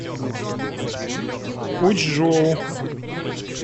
учжоу